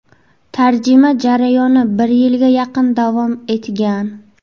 Tarjima jarayoni bir yilga yaqin davom etgan.